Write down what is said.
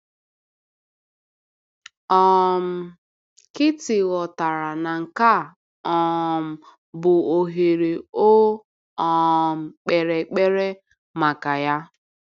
um Kitti ghọtara na nke a um bụ ohere o um kpere ekpere maka ya.